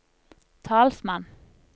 talsmann